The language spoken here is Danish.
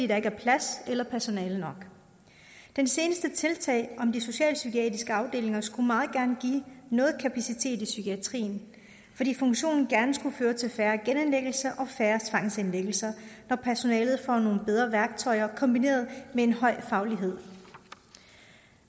der ikke er plads eller personale nok det seneste tiltag om de socialpsykiatriske afdelinger skulle meget gerne give noget kapacitet i psykiatrien fordi funktionen gerne skulle føre til færre genindlæggelser og færre tvangsindlæggelser når personalet får nogle bedre værktøjer kombineret med en høj faglighed